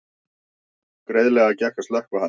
Greiðlega gekk að slökkva hann